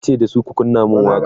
yace dasu "ku kunna man waƙa!"